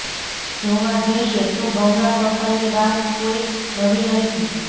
જોવા જઇયે તો ગંગા સફાઈની વાત કોઈ નવી નથી